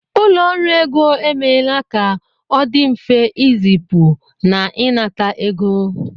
Ụlọ ọrụ ego emeela ka ọ dị mfe ịzipu na ịnata ego